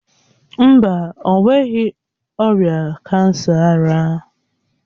Mba, o nweghi ọrịa kansa ara.